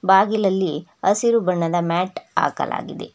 ಬಾಗಿಲಲ್ಲಿ ಹಸಿರು ಬಣ್ಣದ ಮ್ಯಾಟ್ ಹಾಕಲಾಗಿದೆ.